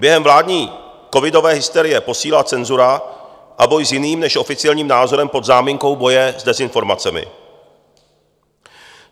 Během vládní covidové hysterie posílila cenzura a boj s jiným než oficiálním názorem pod záminkou boje s dezinformacemi.